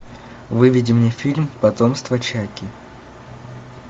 выведи мне фильм потомство чаки